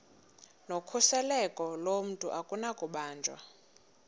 nokhuseleko lomntu akunakubanjwa